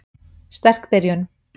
Sterk byrjun.